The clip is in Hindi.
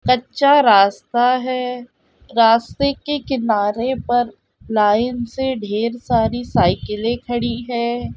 कच्चा रास्ता है | रास्ते के किनारे पर लाइन से ढेर सारी साइकिलें खेड़ी है ।